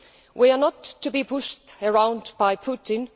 We are not to be pushed around by Putin.